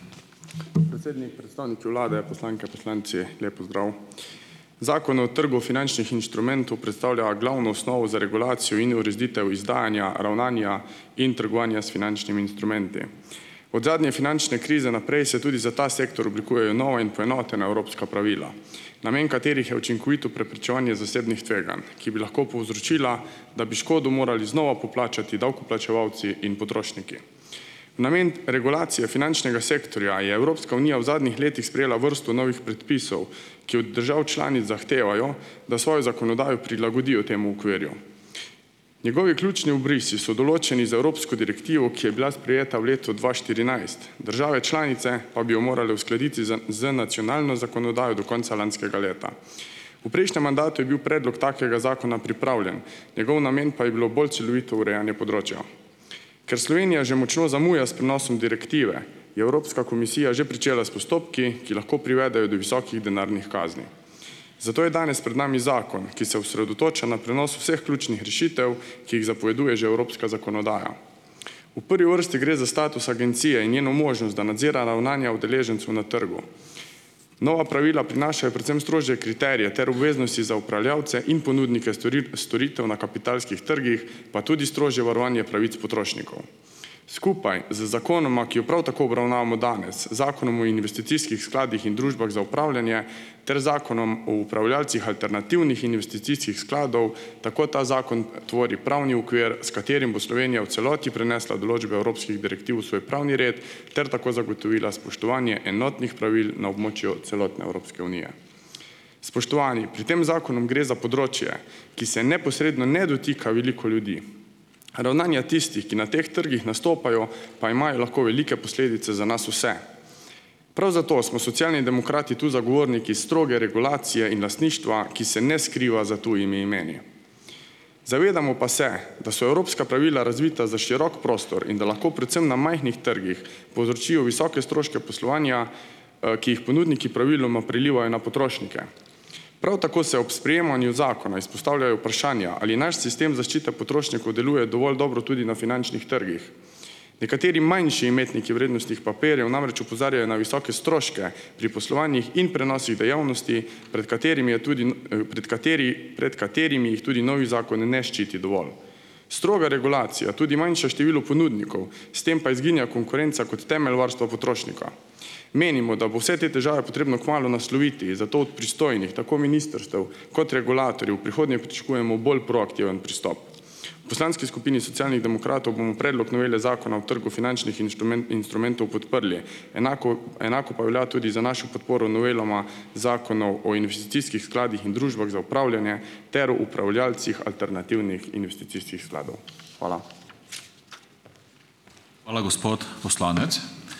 Predsednik, predstavniki Vlade, poslanke, poslanci. Lep pozdrav! Zakon o trgu finančnih inštrumentov predstavlja glavno osnovo za regulacijo in ureditev izdajanja, ravnanja in trgovanja s finančnimi instrumenti. Od zadnje finančne krize naprej se tudi za ta sektor oblikujejo nova in poenotena evropska pravila, namen katerih je učinkovito preprečevanje zasebnih tveganj, ki bi lahko povzročila, da bi škodo morali znova poplačati davkoplačevalci in potrošniki. Namen regulacije finančnega sektorja je Evropska unija v zadnjih letih sprejela vrsto novih predpisov, ki od držav članic zahtevajo, da svojo zakonodajo prilagodijo temu okvirju. Njegovi ključni obrisi so določeni z evropsko direktivo, ki je bila sprejeta v letu dva štirinajst. Države članice pa bi jo morale uskladiti z, z nacionalno zakonodajo do konca lanskega leta. V prejšnjem mandatu je bil predlog takega zakona pripravljen, njegov namen pa je bilo bolj celovito urejanje področja. Ker Slovenija že močno zamuja s prenosom direktive je Evropska komisija že pričela s postopki, ki lahko privedejo do visokih denarnih kazni. Zato je danes pred nami zakon, ki se osredotoča na prenos vseh ključnih rešitev, ki jih zapoveduje že evropska zakonodaja. V prvi vrsti gre za status agencije in njeno možnost, da nadzira ravnanja udeležencev na trgu. Nova pravila prinašajo predvsem strožje kriterije ter obveznosti za upravljavce in ponudnike storitev na kapitalskih trgih, pa tudi strožje varovanje pravic potrošnikov. Skupaj z zakonoma, ki ju prav tako obravnavamo danes; zakonom o investicijskih skladih in družbah za upravljanje ter zakonom o upravljalcih alternativnih investicijskih skladov, tako ta zakon tvori pravni okvir, s katerim bo Slovenija v celoti prenesla določbe evropskih direktiv v svoj pravni red ter tako zagotovila spoštovanje enotnih pravil na območju celotne Evropske unije. Spoštovani! Pri tem zakonu gre za področje, ki se neposredno ne dotika veliko ljudi. Ravnanja tistih, ki na teh trgih nastopajo, pa imajo lahko velike posledice za nas vse. Prav zato smo Socialni demokrati tu zagovorniki stroge regulacije in lastništva, ki se ne skriva za tujimi imeni. Zavedamo pa se, da so evropska pravila razvita za širok prostor in da lahko predvsem na majhnih trgih povzročijo visoke stroške poslovanja, ki jih ponudniki praviloma prelivajo na potrošnike. Prav tako se ob sprejemanju zakona izpostavljajo vprašanja, ali naš sistem zaščite potrošnikov deluje dovolj dobro tudi na finančnih trgih. Nekateri manjši imetniki vrednostnih papirjev namreč opozarjajo na visoke stroške pri poslovanjih in prenosih dejavnosti, pred katerimi je tudi pred kateri, pred katerimi jih tudi novi zakon ne ščiti dovolj. Stroga regulacija, tudi manjše število ponudnikov, s tem pa izginja konkurenca kot temelj varstva potrošnika. Menimo, da bo vse te težave potrebno kmalu nasloviti, zato od pristojnih, tako ministrstev kot regulatorjev, v prihodnje pričakujemo bolj proaktiven pristop. V poslanski skupini Socialnih demokratov bomo predlog novele zakona o trgu finančnih instrumentov podprli. Enako Enako pa velja tudi za našo podporo novelama zakona o, o investicijskih skladih in družbah za upravljanje ter upravljalcih alternativnih investicijskih skladov. Hvala.